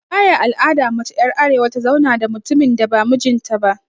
Baya al'adan mace er arewa ta zauna da mutumin da ba mijin ta ba.